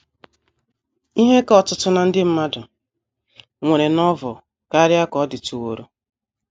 IHE ka ọtụtụ ná ndị mmadụ nwere Novel karịa ka ọ dịtụworo.